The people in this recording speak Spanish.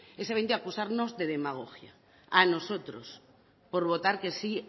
es evidentemente acusarnos de demagogia a nosotros por votar que sí